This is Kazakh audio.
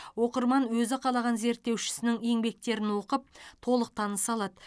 оқырман өзі қалаған зерттеушісінің еңбектерін оқып толық таныса алады